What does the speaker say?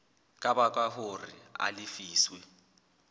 ka baka hore a lefiswe